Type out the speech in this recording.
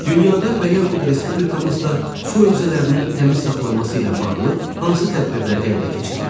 Dünyada və yaxud respublikamızda su hövzələrinin təmiz saxlanması ilə bağlı hansı tədbirlər həyata keçirilir?